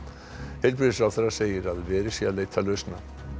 heilbrigðisráðherra segir að verið sé að leita lausna